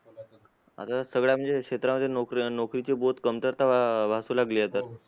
आता सगळ्या म्हणजे क्षेत्रामध्ये नोकऱ्या नोकरीची बहुत कमतरता अं भासू लागली आहे तर